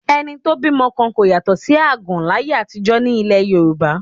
Ẹni tó bímọ kan kò yàtọ̀ sí àgàn láyé àtijọ́ ní ilẹ̀ Yorùbá